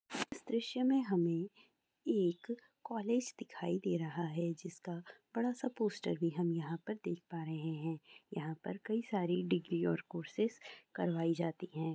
इस दरस्य मे हमे एक कॉलेज दिखाई दे रहा है जिसका बड़ा सा पोस्टर भी हम यहाँ देख पा रहे हैं | यहाँ पर कई सारी डिग्री और कोर्सेज करवाई जाती हैं |